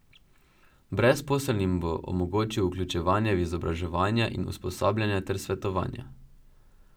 Brezposelnim bo omogočil vključevanje v izobraževanja in usposabljanja ter svetovanja.